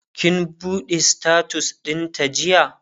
kin buɗe status ɗin ta jiya?